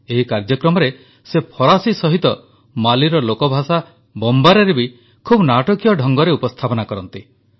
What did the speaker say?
ଏହି କାର୍ଯ୍ୟକ୍ରମରେ ସେ ଫରାସୀ ସହିତ ମାଲିର ଲୋକଭାଷା ବମବାରାରେ ବି ଖୁବ୍ ନାଟକୀୟ ଢଙ୍ଗରେ ଉପସ୍ଥାପନା କରନ୍ତି